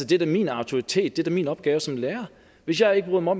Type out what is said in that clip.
det er da min autoritet det er da min opgave som lærer hvis jeg ikke bryder mig